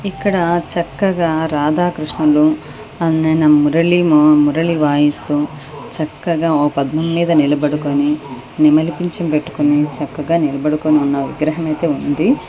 ఇక్కడ చక్కగా రాధాకృష్ణలు అన్నం మురళి మొ మురలి వాయిస్తు చక్కగా ఓ పద్మం మీద నిలబడుకొని నెమలి పించం పెట్టుకుని చక్కగా నిలబడుతున్న విగ్రహం ఉంది.